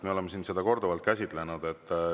Me oleme siin seda korduvalt käsitlenud.